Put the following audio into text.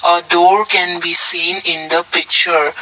uh door can be seen in the picture.